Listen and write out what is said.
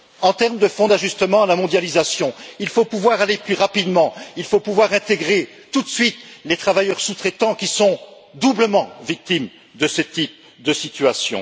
En termes de Fonds d'ajustement à la mondialisation, il faut pouvoir aller plus rapidement, il faut pouvoir intégrer tout de suite les travailleurs sous traitants qui sont doublement victimes de ce type de situation.